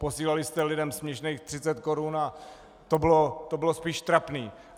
Posílali jste lidem směšných 30 korun a to bylo spíš trapné.